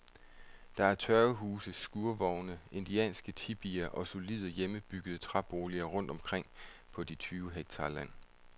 Der er tørvehuse, skurvogne, indianske tipier og solide, hjemmebyggede træboliger rundt omkring på de tyve hektar land.